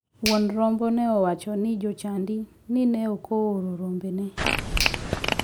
Wuon rombo ne owacho ne jochadi ni ne ok ooro rombone.